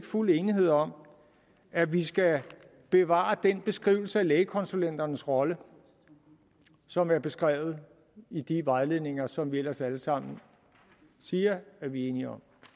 fuld enighed om at vi skal bevare den beskrivelse af lægekonsulenternes rolle som er beskrevet i de vejledninger som vi ellers alle sammen siger at vi er enige om